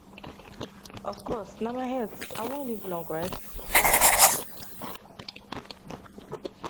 of course na my health i wan live long right